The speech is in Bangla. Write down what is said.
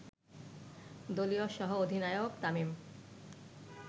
দলীয় সহ অধিনায়ক তামিম